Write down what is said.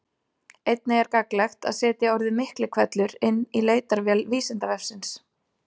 Einnig er gagnlegt að setja orðið Miklihvellur inn í leitarvél Vísindavefsins.